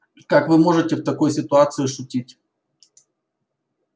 как вы можете в такой ситуации шутить